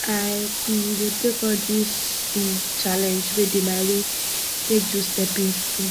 i um go take all dis um challenge wey dey my way take do stepping stone